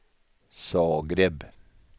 Zagreb